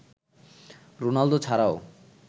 Ronaldo ছাড়াও